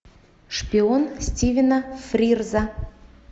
шпион стивена фрирза